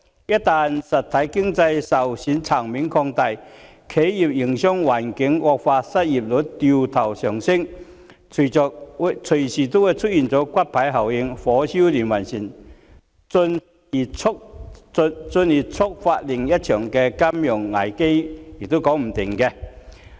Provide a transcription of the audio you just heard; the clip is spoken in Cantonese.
一旦實體經濟受損層面擴大，企業營商環境惡化，失業率掉頭上升，隨時會出現骨牌效應，火燒連環船，進而觸發另一場金融危機也說不定。